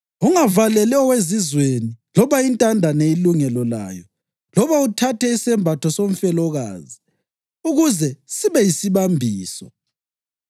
Ungavaleli owezizweni loba intandane ilungelo layo loba uthathe isembatho somfelokazi ukuze sibe yisibambiso.